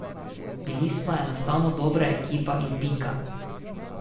Bili smo enostavno dobra ekipa in pika.